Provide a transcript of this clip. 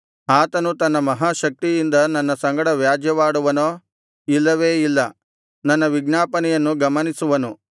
ಆತನು ತನ್ನ ಮಹಾಶಕ್ತಿಯಿಂದ ನನ್ನ ಸಂಗಡ ವ್ಯಾಜ್ಯವಾಡುವನೋ ಇಲ್ಲವೇ ಇಲ್ಲ ನನ್ನ ವಿಜ್ಞಾಪನೆಯನ್ನು ಗಮನಿಸುವನು